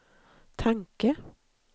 tanke